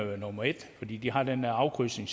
være nummer et fordi de har den der afkrydsning